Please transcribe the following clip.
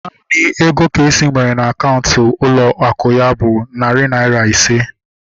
Naanị ego Kosi nwere na akaụntụ ụlọ akụ ya bụ narị naira ise